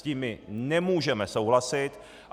S tím my nemůžeme souhlasit.